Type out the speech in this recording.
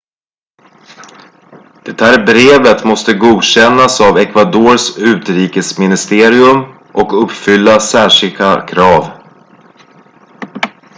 det här brevet måste godkännas av ecuadors utrikesministerium och uppfylla särskilda krav